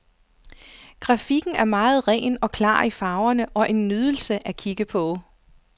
Grafikken er meget ren og klar i farverne og en nydelse at kigge på.